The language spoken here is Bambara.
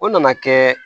O nana kɛ